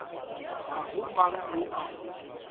ga go mang yo a